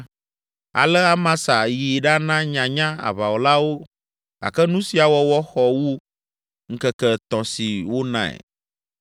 Ale Amasa yi ɖana nyanya aʋawɔlawo gake nu sia wɔwɔ xɔ wu ŋkeke etɔ̃ si wonae.